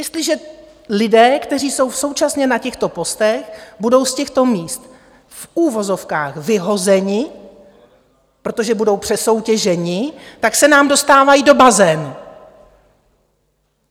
Jestliže lidé, kteří jsou současně na těchto postech, budou z těchto míst v uvozovkách vyhozeni, protože budou přesoutěženi, tak se nám dostávají do bazénu.